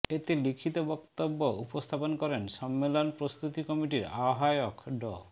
এতে লিখিত বক্তব্য উপস্থাপন করেন সম্মেলন প্রস্তুতি কমিটির আহবায়ক ড